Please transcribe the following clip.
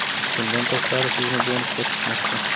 Bundan tashqari, sizni bonuslar kutmoqda!